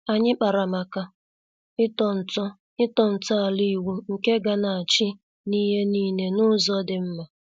Anyị kpara màkà ịtọ nto ịtọ nto ala ịwụ nke ga-na achị n'ihe niile n'ụzọ dị mma.